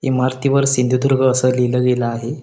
इमारती वर सिंधुदुर्ग अस लिहिल गेल आहे.